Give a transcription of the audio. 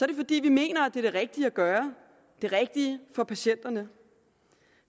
det fordi vi mener at det er det rigtige at gøre det rigtige for patienterne